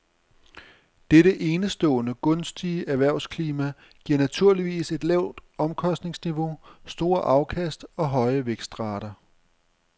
Dette enestående gunstige erhvervsklima giver naturligvis et lavt omkostningsniveau, store afkast og høje vækstrater.